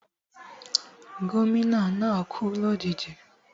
Gómìnà náà kú lòjijì